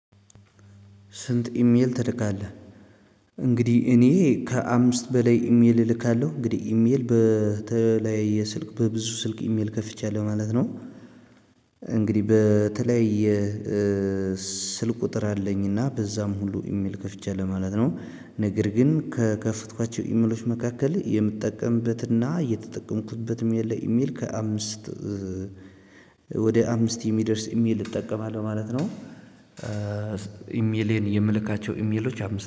ስንት? ኢሜል ትልካለህ እንግዲህ እኔ ከአምስት በላይ ኢሜል እልካለሁ እንግዲህ ኢሜል በተለይ ስልክ በብዙ ስልክ ኢሜል ከፍቻለሁ ማለት ነው። እንግዲህ በተለይ ስልክ ቁጥር አለኝና በዛም ሁሉ ኢሜል ከፍቼ ለማለት ነው ነገር ግን ከከፈትኳቸው ኢሜሎች መካከል የምትጠቀምበትና የተጠቀምኩበትም ያለ ኢሜል ከአምስት ወደ አምስት የሚደርስ ኢሜል እጠቀማለሁ ማለት ነው። ኢሜሌን የምልካቸው ኢሜሎች አምስት